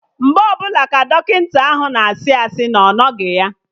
Mgbe ọbụla ka Dọkịta ahụ na-asị asị na ọ nọghị ya